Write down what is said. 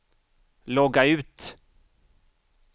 logga ut